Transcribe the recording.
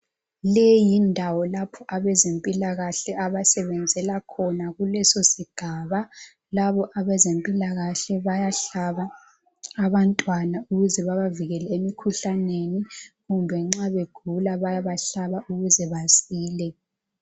Leyindawo lapho abezempilakahle abasebenzela khona kulesosigaba. Laba abezempilakahle bayahlaba abantwana ukuze babavikele emikhuhlaneni. Lanxa begula bayabahlaba ukuze basile.